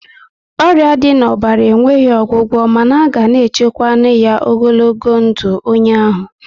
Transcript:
Ọrịa dị na ọbara enweghị ọgwụgwọ mana a ga na echukwanwu ya ogologo ndụ onye ahụ